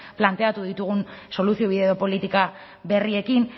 planteatu ditugun soluziobide edo politika berriekin